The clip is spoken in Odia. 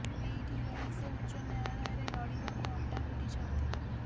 ଏଇଠି ରହି ସେ ଉଚ୍ଚ ନ୍ୟାୟାଳୟରେ ଲଢ଼ିବାକୁ ଅଣ୍ଟା ଭିଡ଼ିଛନ୍ତି